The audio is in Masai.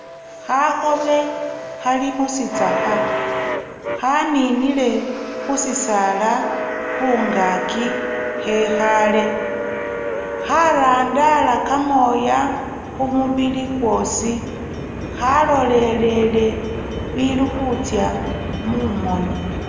Khakhobe khali mu sitsakha khaninile khu sisaala khungaaki khekhaale kharandala kamooya khu mubili khwosi kwalolelele bili khutsya mumooni.